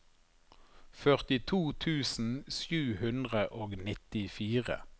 førtito tusen sju hundre og nittifire